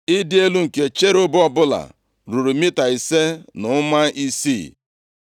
Ịdị elu nke cherub ọbụla ruru mita ise na ụma isii.